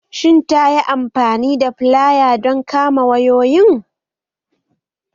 Shin ta yi amfani da filaya don kama wayoyin?